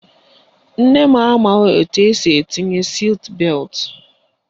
Nne m amaghị etu esi etinye siit beltụ.